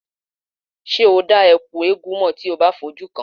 Ṣé o dá Ẹ̀kú eégún mọ̀ bí ó bá fi ojú kàn án?